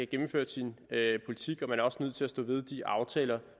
gennemført sin politik og man er også nødt til at stå ved de aftaler